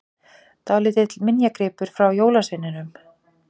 Dálítill minjagripur frá jólasveininum!